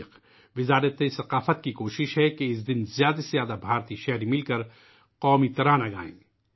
ثقافت کی وزارت کی کوشش ہے کہ اس دن ہندوستان کے زیادہ سے زیادہ لوگ قومی ترانہ ایک ساتھ مل کر گائیں